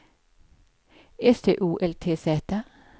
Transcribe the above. S T O L T Z